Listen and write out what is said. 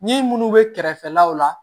Ni munnu bɛ kɛrɛfɛlaw la